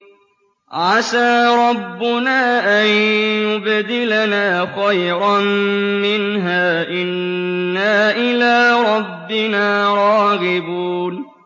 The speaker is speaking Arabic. عَسَىٰ رَبُّنَا أَن يُبْدِلَنَا خَيْرًا مِّنْهَا إِنَّا إِلَىٰ رَبِّنَا رَاغِبُونَ